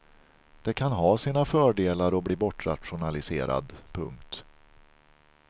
Det kan ha sina fördelar att bli bortrationaliserad. punkt